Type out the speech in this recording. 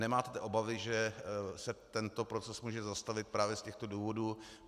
Nemáte obavy, že se tento proces může zastavit právě z těchto důvodů?